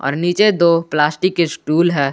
और नीचे दो प्लास्टिक के स्टूल है।